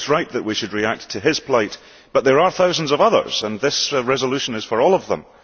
It is right that we should react to his plight. But there are thousands of others, and this resolution is for all of them.